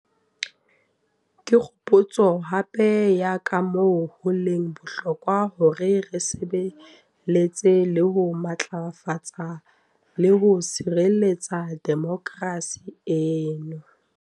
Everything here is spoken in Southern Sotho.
Ke kgopotso hape ya kamoo ho leng bohlokwa hore re sebe letsa le ho matlafatsa le ho sireletsa demokerasi eno.